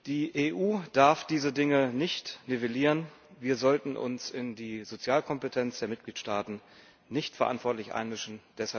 Die EU darf diese Dinge nicht nivellieren, wir sollten uns in die Sozialkompetenz der Mitgliedstaaten nicht verantwortlich einmischen.